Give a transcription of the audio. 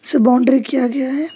इसे बाउंड्री किया गया है।